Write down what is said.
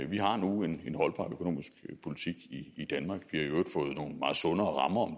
vi har nu en holdbar økonomisk politik i i danmark vi har i øvrigt fået nogle meget sundere rammer om